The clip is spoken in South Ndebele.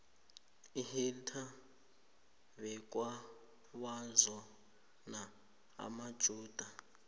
uhittler bekawazona amajuda